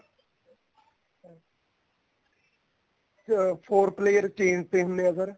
ਅਹ four player ਤਿੰਨ ਤਿੰਨ ਨੇ ਅਗਰ